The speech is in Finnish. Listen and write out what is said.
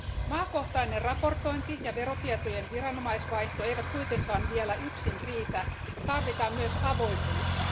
Maakohtainen raportointi ja verotietojen viranomaisvaihto eivät kuitenkaan vielä yksin riitä. Tarvitaan myös avoimuutta.